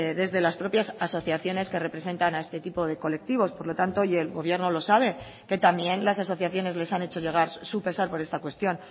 desde las propias asociaciones que representan a este tipo de colectivos por lo tanto y el gobierno lo sabe que también las asociaciones les han hecho llegar su pesar por esta cuestión